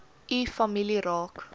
u familie raak